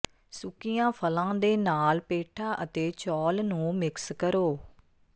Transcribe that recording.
ਸੁੱਕੀਆਂ ਫਲਾਂ ਦੇ ਨਾਲ ਪੇਠਾ ਅਤੇ ਚੌਲ ਨੂੰ ਮਿਕਸ ਕਰੋ